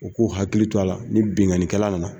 U k'u hakili to a la ni binkanikɛla nana.